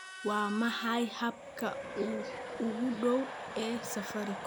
waa maxay habka ugu dhow ee safaricom